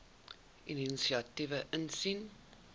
inisiatiewe insien